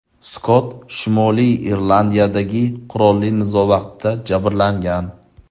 Skott Shimoliy Irlandiyadagi qurolli nizo vaqtida jabrlangan.